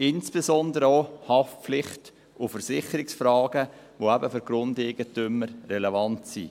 insbesondere auch Haftpflicht- und Versicherungsfragen, die eben für die Grundeigentümer relevant sind.